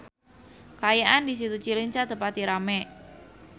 Kaayaan di Situ Cileunca teu pati rame